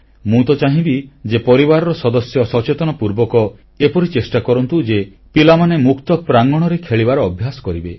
ମୁଁ ତ ଚାହିଁବି ଯେ ପରିବାରର ସଦସ୍ୟ ସଚେତନପୂର୍ବକ ଏପରି ଚେଷ୍ଟା କରନ୍ତୁ ଯେ ପିଲାମାନେ ମୁକ୍ତ ପ୍ରାଙ୍ଗଣରେ ଖେଳିବାର ଅଭ୍ୟାସ କରନ୍ତୁ